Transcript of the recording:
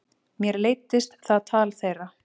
Mér leiddist það tal þeirra.